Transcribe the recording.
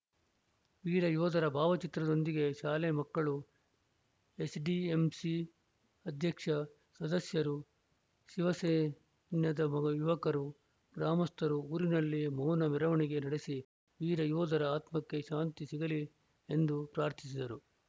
ವೀರ ಯೋಧರ ಭಾವಚಿತ್ರದೊಂದಿಗೆ ಶಾಲೆ ಮಕ್ಕಳು ಎಸ್‌ಡಿಎಂಸಿ ಅಧ್ಯಕ್ಷ ಸದಸ್ಯರು ಶಿವಸೈನ್ಯದ ಯುವಕರು ಗ್ರಾಮಸ್ಥರು ಊರಿನಲ್ಲಿ ಮೌನ ಮೆರವಣಿಗೆ ನಡೆಸಿ ವೀರ ಯೋಧರ ಆತ್ಮಕ್ಕೆ ಶಾಂತಿ ಸಿಗಲಿ ಎಂದು ಪ್ರಾರ್ಥಿಸಿದರು